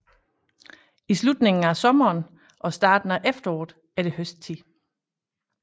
I slutningen af sommeren og starten af efteråret er det høsttid